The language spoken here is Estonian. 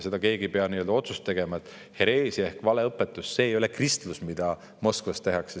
Hereesia on valeõpetus, see ei ole kristlus, mida Moskvas tehakse.